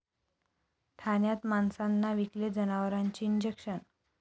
ठाण्यात माणसांना विकले जनावरांचे इंजेक्शन!